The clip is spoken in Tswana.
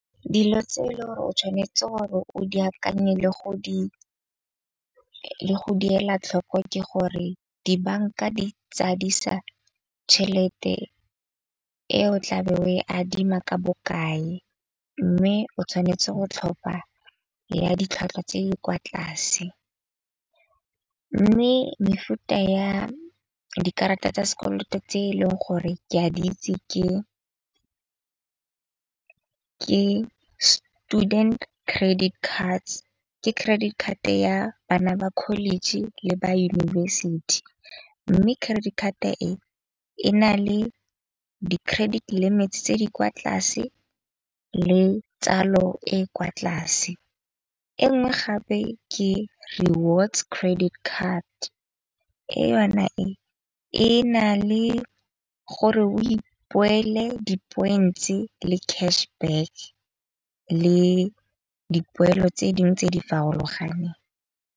Dilo tse le gore o tshwanetse gore o di akanye le go di, le go di yela tlhoko ke gore dibanka di tsadisa tšhelete , eo o tla be o e adima ka bokae. Mme o tshwanetse go tlhopha ya ditlhwatlhwa tse di kwa tlase. Mme mefuta ya dikarata tsa sekoloto tse eleng gore ke a di itse ke student credit cards. Ke credit card ya bana ba college le ba yunibesithi. Mme credit card-a e e na le di-credit limits tse di kwa tlase le tsalo e kwa tlase. E nngwe gape ke rewards credit card. E yona e e na le gore o di-points-e le cash back le dipoelo tse ding tse di farologaneng.